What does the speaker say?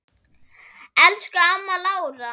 Elsku amma Lára.